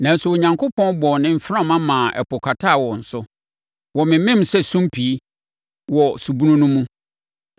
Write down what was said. Nanso, Onyankopɔn bɔɔ ne mframa maa ɛpo kataa wɔn so. Wɔmemem sɛ sumpii wɔ subunu no mu.